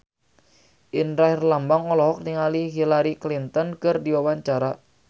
Indra Herlambang olohok ningali Hillary Clinton keur diwawancara